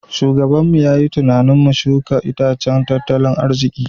Shugabanmu ya yi tunanin mu shuka itacen tattalin arziki.